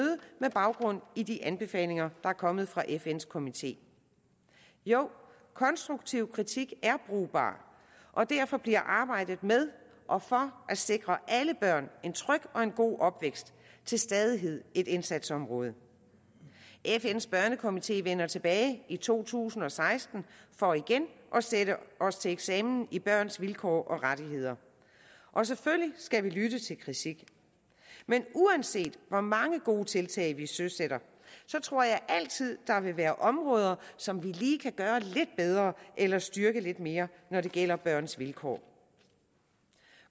baggrund i de anbefalinger der er kommet fra fns komité jo konstruktiv kritik er brugbar og derfor bliver arbejdet med og for at sikre alle børn en tryg og en god opvækst til stadighed et indsatsområde fns børnekomité vender tilbage i to tusind og seksten for igen at sende os til eksamen i børns vilkår og rettigheder og selvfølgelig skal vi lytte til kritik men uanset hvor mange gode tiltag vi søsætter tror jeg altid vil være områder som vi lige kan gøre lidt bedre eller styrke lidt mere når det gælder børns vilkår